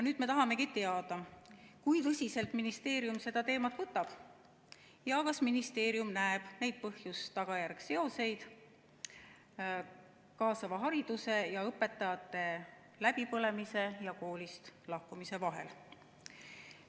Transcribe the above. Nüüd me tahamegi teada, kui tõsiselt ministeerium seda teemat võtab ja kas ministeerium näeb põhjuse‑tagajärje seoseid kaasava hariduse ning õpetajate läbipõlemise ja koolist lahkumise vahel.